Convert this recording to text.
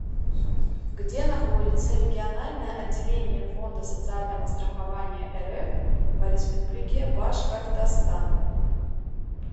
где находится региональное отделение фонда социального страхования рф по республике башкортостан